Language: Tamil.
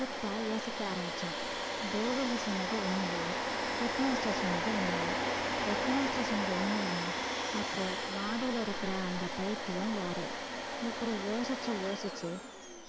கிட்டா யோசிக்க ஆரம்பிச்சான் தேவகி சொன்னது உண்மையா head master சொன்னது உண்மையா head master சொன்னது உண்மைன்னா அப்போ மாடியில இருக்கிற அந்த பைத்தியம் யாரு இப்படி யோசிச்சு யோசிச்சு